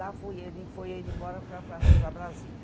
Lá foi ele foi ele embora para para para Brasília.